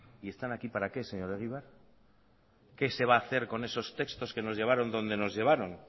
y están aquí para qué señor egibar qué se va a hacer con esos textos que nos llevaron donde nos llevaron